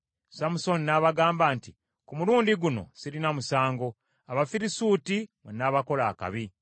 Samusooni n’abagamba nti, “Ku mulundi guno sirina musango, Abafirisuuti bwe nnaabakola akabi.”